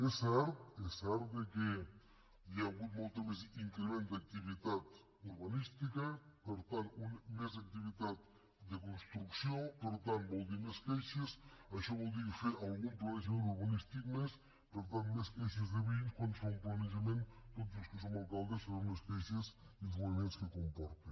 és cert és cert que hi ha hagut molt més increment d’activitat urbanística per tant més activitat de construcció per tant vol dir més queixes això vol dir fer algun planejament urbanístic més per tant més queixes de veïns quan es fa un planejament tots els que som alcaldes sabem les queixes i els moviments que comporta